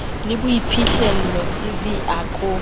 le boiphihlello cv a ko